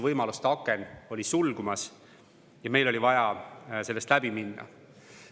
Võimaluste aken oli sulgumas ja meil oli vaja sellest läbi minna.